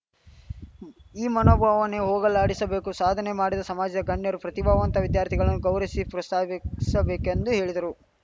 ಈ ಮನೋಭಾವನೆ ಹೋಗಲಾಡಿಸಬೇಕು ಸಾಧನೆ ಮಾಡಿದ ಸಮಾಜದ ಗಣ್ಯರು ಪ್ರತಿಭಾವಂತ ವಿದ್ಯಾರ್ಥಿಗಳನ್ನು ಗೌರವಿಸಿ ಪ್ರೋಸ್ತಾಹಿಸಬೇಕೆಂದು ಹೇಳಿದರು